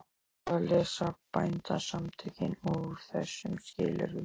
Hvað lesa Bændasamtökin úr þessum skilyrðum?